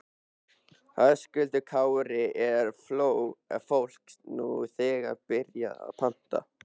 Höskuldur Kári: Er fólk nú þegar byrjað að panta?